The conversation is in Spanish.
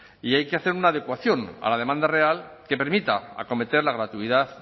y hay que hacer una adecuación a la demanda real que permitiría acometer la gratuidad